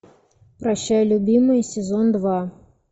прощай любимый сезон два